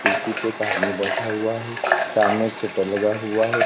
कुर्सी पे एक आदमी बैठा हुआ है सामने एक शटर लगा हुआ है।